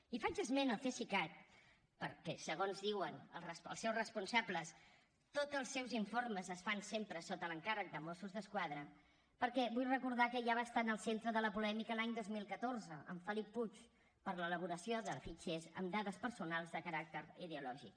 i faig esment al cesicat perquè segons diuen els seus responsables tots els seus informes es fan sempre sota l’encàrrec de mossos d’esquadra perquè vull recordar que ja va estar en el centre de la polèmica l’any dos mil catorze amb felip puig per l’elaboració de fitxers amb dades personals de caràcter ideològic